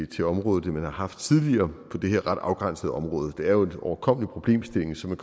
til området end man har haft tidligere på det her ret afgrænsede område det er jo en overkommelig problemstilling så man